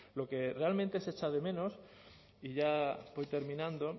lo que realmente se echa de menos y ya voy terminando